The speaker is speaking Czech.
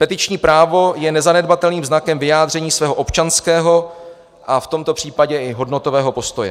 Petiční právo je nezanedbatelným znakem vyjádření svého občanského a v tomto případě i hodnotového postoje.